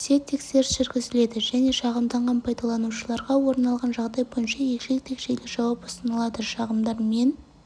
түрде тексеріс жүргізіледі және шағымданған пайдаланушыларға орын алған жағдай бойынша егжей-тегжейлі жауап ұсынылады шағымдар мен